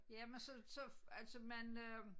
Jamen så så altså man øh